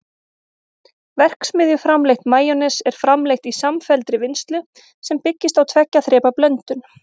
verksmiðjuframleitt majónes er framleitt í samfelldri vinnslu sem byggist á tveggja þrepa blöndun